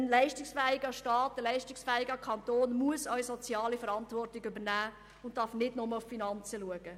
Ein sozialer leistungsfähiger Kanton muss auch soziale Verantwortung wahrnehmen und darf nicht nur auf die Finanzen schauen.